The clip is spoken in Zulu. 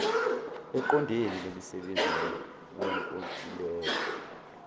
eqondene nemisebenzi yowenkontileka